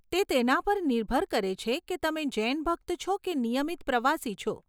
તે તેના પર નિર્ભર કરે છે કે તમે જૈન ભક્ત છો કે નિયમિત પ્રવાસી છો.